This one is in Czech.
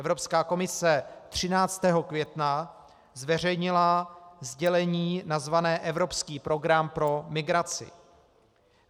Evropská komise 13. května zveřejnila sdělení nazvané Evropský program pro migraci.